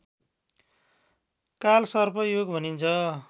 कालसर्प योग भनिन्छ